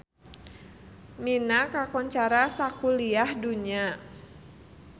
Mina kakoncara sakuliah dunya